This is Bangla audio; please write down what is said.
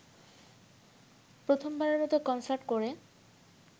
প্রথমবারের মতো কনসার্ট করে